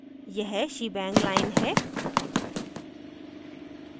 यह shebang line है